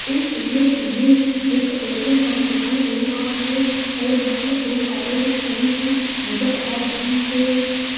इस इमेज मे एक पेट्रोल पंप दिखाई दे रहा है और यहां पर दो कारे भी खड़ी हुई नज़र आ रही है।